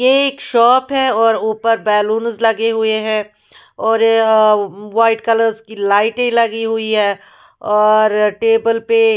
ये एक शॉप है और ऊपर बैलून्स लगे हुए है और अ व्हाइट कलर के लाइट्स लगे हुए है टेबल पे--